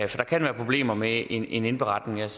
der kan være problemer med en indberetning jeg